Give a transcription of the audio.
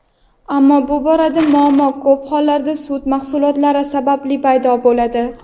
ammo bu borada muammo ko‘p hollarda sut mahsulotlari sababli paydo bo‘ladi.